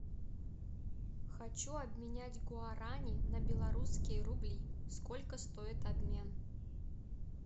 хочу обменять гуарани на белорусские рубли сколько стоит обмен